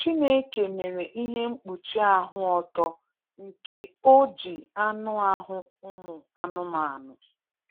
Chineke mere ihe mkpuchi ahụ ọtọ nke o ji anụ ahụ ụmụ anụmanụ.